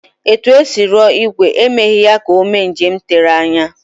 Etu e si rụọ ìgwè, emeghị ya ka o mee njem tere anya